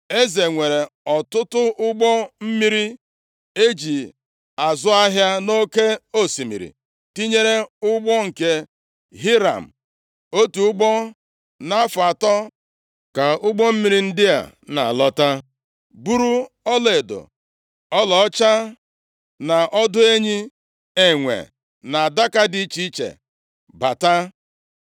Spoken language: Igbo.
Eze nwere ọtụtụ ụgbọ + 10:22 Hibru ga-asị, Ọtụtụ ụgbọ nke Tashish mmiri e ji azụ ahịa nʼoke osimiri, tinyere ụgbọ nke Hiram. Otu ugbo nʼafọ atọ, ka ụgbọ mmiri ndị a na-alọta, buru ọlaedo, ọlaọcha na ọdụ enyi, enwe na adaka dị iche iche bata.